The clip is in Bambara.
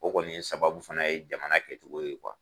O kɔni ye sababu fana ye jamana kɛcogo ye